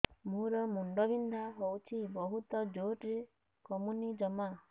ମୋର ମୁଣ୍ଡ ବିନ୍ଧା ହଉଛି ବହୁତ ଜୋରରେ କମୁନି ଜମା